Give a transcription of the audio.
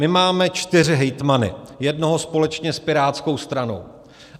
My máme čtyři hejtmany, jednoho společně s pirátskou stranou.